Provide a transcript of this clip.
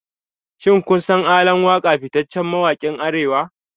Shin kun san ALAN WAKA fitaccen mawakin Arewa?